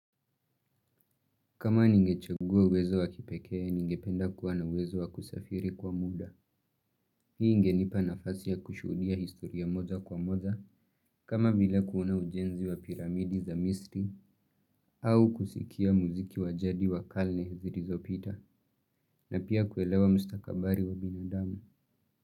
Kama ningechugua uwezo wa kipekee, ningependa kuwa na uwezo wa kusafiri kwa muda. Hii ingenipa nafasi ya kushuhudia historia moja kwa moja, kama vile kuona ujenzi wa piramidi za misri, au kusikia mziki wa jadi wa kale zilizo pita, na pia kuelewa mstakabali wa binadamu.